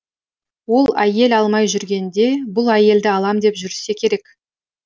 ол әйел алмай жүргенде бұл әйелді алам деп жүрсе керек